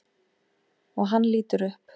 Og hann lítur upp.